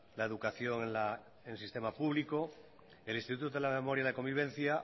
la educación en el sistema público el instituto de la memoria y la convivencia